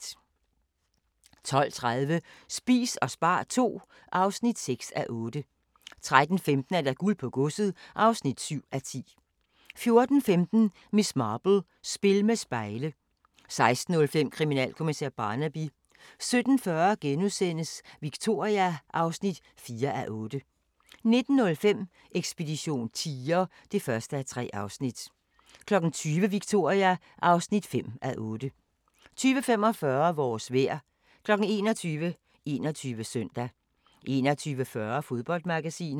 12:30: Spis og spar II (6:8) 13:15: Guld på godset (7:10) 14:15: Miss Marple: Spil med spejle 16:05: Kriminalkommissær Barnaby 17:40: Victoria (4:8)* 19:05: Ekspedition tiger (1:3) 20:00: Victoria (5:8) 20:45: Vores vejr 21:00: 21 Søndag 21:40: Fodboldmagasinet